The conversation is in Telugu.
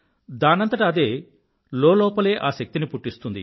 దానంతట అదే లోపల్లోపలే ఆ శక్తిని పుట్టిస్తుంది